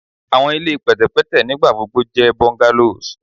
Awọn ile pẹtẹpẹtẹ nigbagbogbo jẹ bungalows